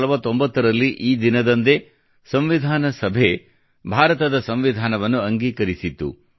1949 ರಲ್ಲಿ ಈ ದಿನದಂದೇ ಸಂವಿಧಾನ ಸಭೆಯು ಭಾರತದ ಸಂವಿಧಾನವನ್ನು ಅಂಗೀಕರಿಸಿತ್ತು